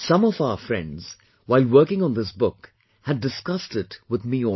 Some of our friends, while working on this book had discussed it with me also